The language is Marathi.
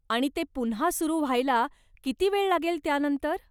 आणि ते पुन्हा सुरु व्हायला किती वेळ लागेल त्यानंतर?